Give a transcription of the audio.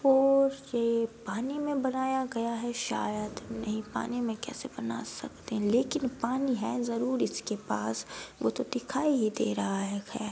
बोहोत से पानी में बनाया गया है शायद नही पानी में कैसे बना सकते है लेकिन पानी है जरूर इसके पास वह तो दिखाई ही दे रहा है।